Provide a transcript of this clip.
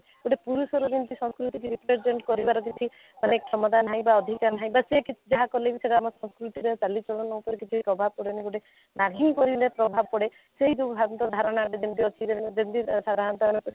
ଗୋଟେ ପୁରୁଷର ଯେମିତି ସଂସ୍କୃତି କି represent କରିବାରେ କିଛି ଅନେକ କ୍ଷମତା ନାହିଁ ବା ଅଧିକାର ନାହିଁ ବାସ ସେ କିଛି ଯାହା କଲେ ବି ସେଇଟା ଆମ ସଂସ୍କୃତିରେ ଚାଲି ଚଳନ ଉପରେ କକିଛି ପ୍ରଭାବ ପଡ଼େନି ଗୋଟେ ନାରୀ କରିଲେ ପ୍ରଭାବ ପଡେ ସେଇ ଯଉ ଭ୍ରାନ୍ତ ଧାରଣା ଯେମିତି ଅଛି ଯେମିତି ସାଧାରଣତ୍ୟ